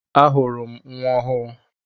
Ahụrụ m nnwa ọhụụ.